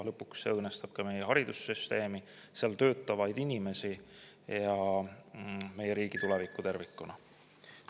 Lõpuks see õõnestab ka meie haridussüsteemi, seal töötavaid inimesi ja meie riigi tulevikku tervikuna.